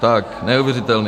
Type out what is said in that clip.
Tak neuvěřitelný.